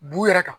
Bu yɛrɛ kan